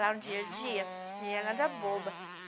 Lá no dia a dia, não era nada boba.